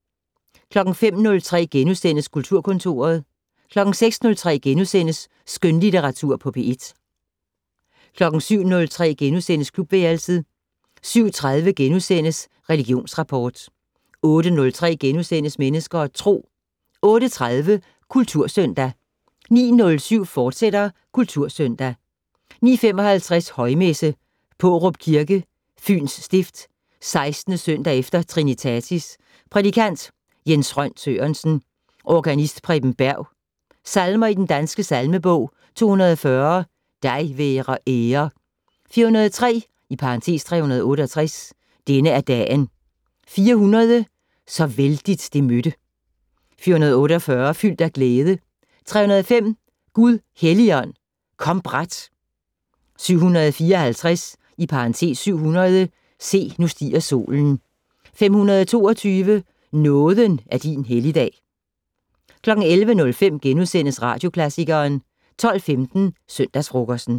05:03: Kulturkontoret * 06:03: Skønlitteratur på P1 * 07:03: Klubværelset * 07:30: Religionsrapport * 08:03: Mennesker og Tro * 08:30: Kultursøndag 09:07: Kultursøndag, fortsat 09:55: Højmesse - Pårup Kirke, Fyns stift. 16. søndag efter trinitatis. Prædikant: Jens Rønn Sørensen. Organist: Preben Berg. Salmer i Den Danske Salmebog: 240 "Dig være ære". 403 (368). "Denne er dagen". 400 "Så vældigt det mødte". 448 "Fyldt af glæde". 305 "Gud Helligånd, kom brat". 754 (700). "Se, nu stiger solen". 522 "Nåden er din helligdag". 11:05: Radioklassikeren * 12:15: Søndagsfrokosten